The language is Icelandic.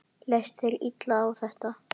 Leist þér illa á þetta?